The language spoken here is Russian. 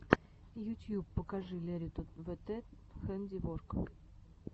ютьюб покажи лериту вт хэндиворк